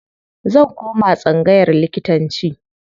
Zan koma tsangayar likitanci.